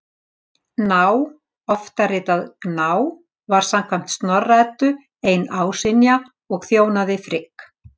Ná, oftar ritað Gná, var samkvæmt Snorra-Eddu ein ásynja og þjónaði Frigg.